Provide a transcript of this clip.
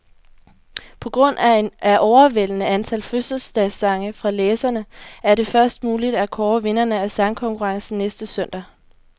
På grund af overvældende antal fødselsdagssange fra læserne, er det først muligt at kåre vinderne af sangkonkurrencen næste søndag.